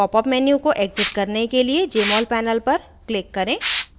popup menu को exit करने के लिए jmol panel पर click करें